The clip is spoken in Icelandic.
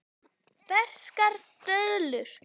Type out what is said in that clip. Ferskar döðlur